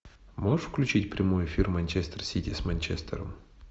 можешь включить прямой эфир манчестер сити с манчестером